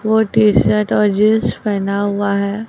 वो T shirt और jeans पहना हुआ है।